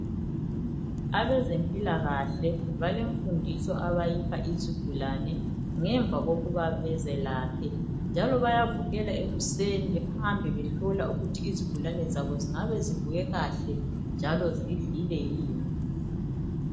Abezempilakahle balemfundiso abayipha izigulane ngemva kokuba bezelaphe. Njalo bayavukela ekuseni behambe behlola ukuthi izigulane zabo zingabe zivuke kahle njalo zidlile yini.